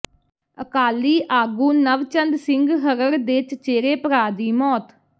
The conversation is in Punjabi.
ਅਕਾਲੀ ਆਗੂ ਨਵਚੰਦ ਸਿੰਘ ਹਰੜ੍ਹ ਦੇ ਚਚੇੇਰੇ ਭਰਾ ਦੀ ਮੌਤ